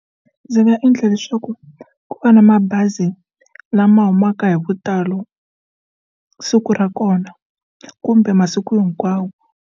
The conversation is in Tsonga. Ndzi nga endla leswaku ku va na mabazi lama humaka hi vutalo siku ra kona kumbe masiku hinkwawo.